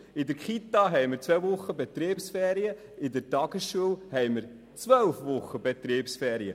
In den Kitas gibt es zwei Wochen Betriebsferien, in der Tagesschule haben wir zwölf Wochen Betriebsferien.